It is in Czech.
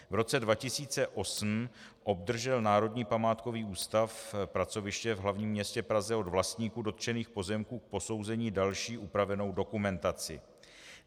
V roce 2008 obdržel Národní památkový ústav, pracoviště v hlavním městě Praze, od vlastníků dotčených pozemků k posouzení další upravenou dokumentaci.